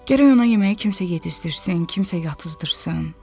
Gərək ona yeməyi kimsə yedizdirsin, kimsə yatızdırsın.